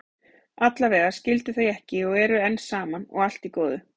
Allavega skildu þau ekki og eru enn saman, og allt í góðu.